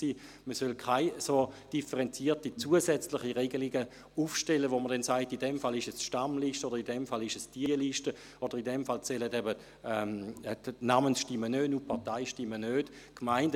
Man solle keine derart differenzierten zusätzlichen Regelungen aufstellen, mit denen man festlegt, dass die Stammliste gilt, beziehungsweise je nach Fall die eine oder die andere Liste, oder aber dass die Namens- oder Parteistimmen nicht zählen.